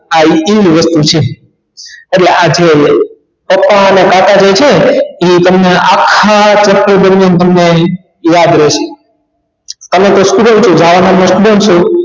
આ આટલી જ વસ્તુ છે ઍટલે આ જે પપ્પા ઑના કાકા જે છે ઇ તમને આખા chapter દરમિયાન તમને ઇ યાદ રેશે અને તે student જાવા નો મતલબ શું